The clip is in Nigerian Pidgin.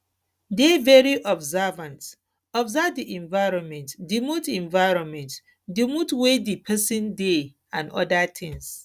dey very observant observe di environment di mood environment di mood wey di person dey and oda things